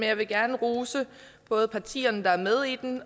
jeg vil gerne rose både partierne der er med